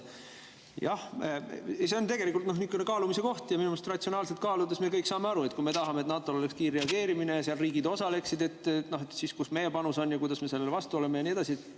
Jah, see on tegelikult niisugune kaalumise koht ja minu arust ratsionaalselt kaaludes me kõik saame aru, et kui me tahame, et NATO-l oleks kiirreageerimise, et seal riigid osaleksid, siis, kus oma panuse ja kus me sellele vastu oleme ja nii edasi.